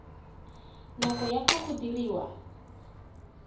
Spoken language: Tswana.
nako ya fa go diriwa